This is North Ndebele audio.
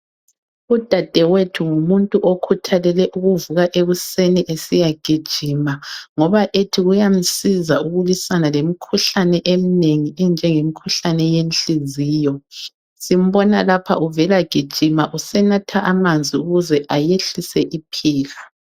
Udadewethu ngumuntu okhuthalele ukuvula ekuseni esiya gijima ngoba ethi kuyamsiza ukulwisana lemkhuhlane emnengi enjenge mkhuhlane yenhliziyo simbona lapha uvela gijima usenatha amanzi akuze ayehlise iphika.